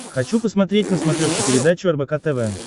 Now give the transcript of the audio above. хочу посмотреть на смотрешке передачу рбк тв